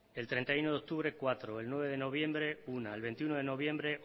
el treinta y uno de octubre cuatro el nueve de noviembre una el veintiuno de noviembre